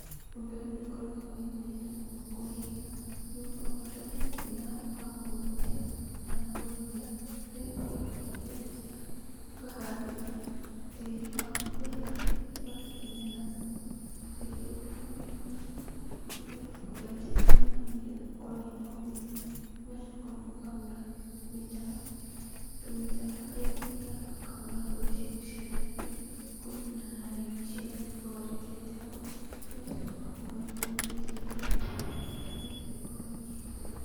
Ũndũ ũyũ ndũkoragwo wĩ mũritũ mũno kũwĩka, nĩgũkorwo bata nĩũkorwo wĩna handũ ha kũũrutĩra, kana kũrĩmĩra, haria ũthiaga ũkenja, ũkaharĩria tĩri waku wega, ũgatukania na thumu. Warĩkia gũtukania na thumu, nĩũcokaga ũgaitĩrĩria maĩ nĩgetha ũkorwo wĩna ũgunyu. Ũgacoka ũkahura mĩtaro, tũmĩtaro harĩa ũthiaga ũkahura mbegu ciaku cia ndania, kũringana na raini icio ũthondekete hau, ũgacoka ũgakorwo ũgĩitĩrĩria maĩ, nĩ getha ikorwo igĩkũra.